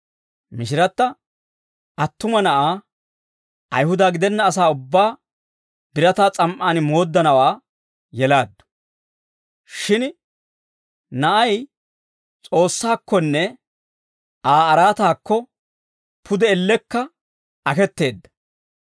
Mishiratta attuma na'aa, Ayihuda gidenna asaa ubbaa birataa s'am"aan mooddanawaa yelaaddu. Shin na'ay S'oossaakkonne Aa araataakko, pude ellekka aketeedda.